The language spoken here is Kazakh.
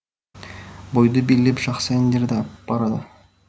бойды билеп жақсы әндерді ап барады